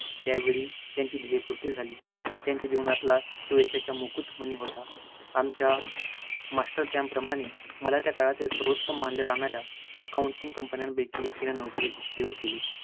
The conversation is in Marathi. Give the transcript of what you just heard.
यावेळी त्यांची ध्येयपूर्ती झाली, त्यांच्या जीवनातला तो यशाचा मुकुट मणी होता. आमच्या master camp प्रमाणे मला त्या काळातील सर्वोत्तम मानल्या जाणाऱ्या accounting company पैकी एक या company त नोकरी देऊ केली.